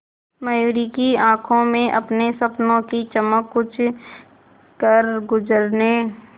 मयूरी की आंखों में अपने सपनों की चमक कुछ करगुजरने